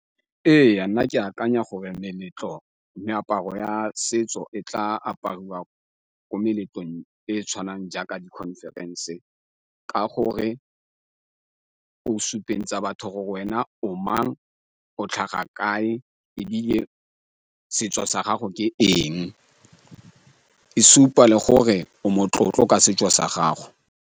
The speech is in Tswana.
Ee, nna ke akanya gore meletlo, meaparo ya setso e tla apariwa ko meletlong e e tshwanang jaaka di-conference ka gore o supentsha batho go wena o mang, o tlhaga kae, ebile setso sa gago ke eng. E supa le gore o motlotlo ka setso sa gago.